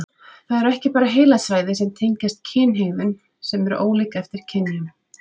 Það eru ekki bara heilasvæði sem tengjast kynhegðun sem eru ólík eftir kynjum.